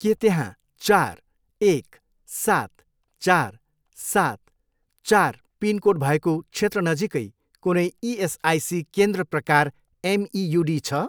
के त्यहाँ चार, एक, सात, चार, सात, चार पिनकोड भएको क्षेत्र नजिकै कुनै इएसआइसी केन्द्र प्रकार एमइयुडी छ?